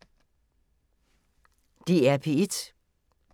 DR P1